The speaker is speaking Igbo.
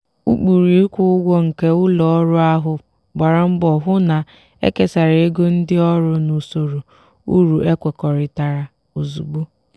ụkpụrụ ịkwụ ụgwọ nke ụlọ ọrụ ahụ gbara mbọ hụ na ekesara ego ndị ọrụ n'usoro uru ekwekọrịtara ozugbo.